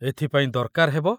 ଏଥିପାଇଁ ଦରକାର ହେବ